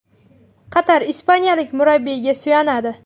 Qatar ispaniyalik murabbiyga suyanadi.